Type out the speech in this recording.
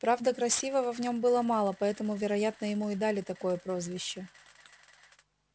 правда красивого в нем было мало поэтому вероятно ему и дали такое прозвище